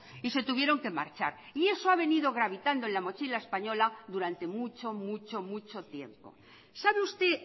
y se tuvieron que marchar y eso ha venido gravitando en la mochila española durante mucho mucho mucho tiempo sabe usted